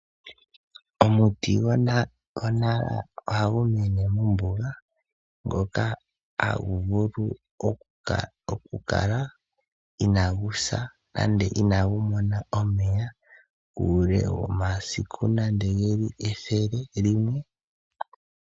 Omuti go! Nara oha gu mene mombuga ngoka ha gu vulu okukala ina gu sa nande inagu mona omeya uule womasiku nande ge li ethele limwe.